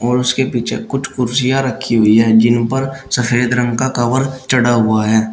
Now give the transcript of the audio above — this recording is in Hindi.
उसके पीछे कुछ कुर्सियां रखी हुई है जिन पर सफेद रंग का कवर चढ़ा हुआ है।